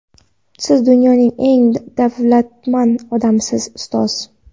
Siz dunyoning eng davlatmand odamisiz - ustoz!.